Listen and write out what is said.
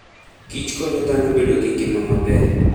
Kich konyo dhano bedo gi ngima maber.